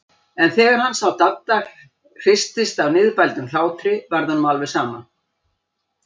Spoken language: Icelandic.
En þegar hann sá að Dadda hristist af niðurbældum hlátri varð honum alveg sama.